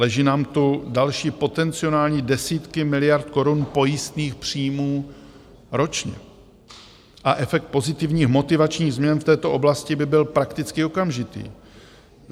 Leží nám tu další potenciální desítky miliard korun pojistných příjmů ročně a efekt pozitivních motivačních změn v této oblasti by byl prakticky okamžitý.